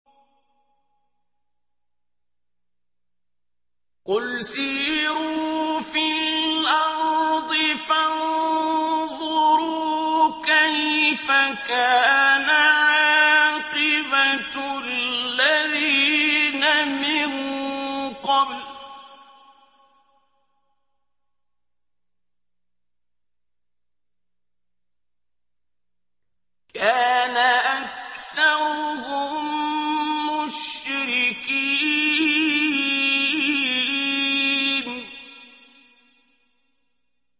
قُلْ سِيرُوا فِي الْأَرْضِ فَانظُرُوا كَيْفَ كَانَ عَاقِبَةُ الَّذِينَ مِن قَبْلُ ۚ كَانَ أَكْثَرُهُم مُّشْرِكِينَ